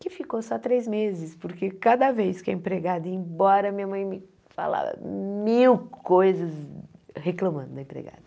que ficou só três meses, porque cada vez que a empregada ia embora, minha mãe me falava mil coisas reclamando da empregada.